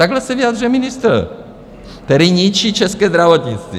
Takhle se vyjadřuje ministr, který ničí české zdravotnictví.